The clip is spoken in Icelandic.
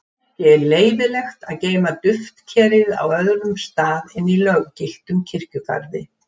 Ekki er leyfilegt að geyma duftkerið á öðrum stað en í löggiltum kirkjugarði.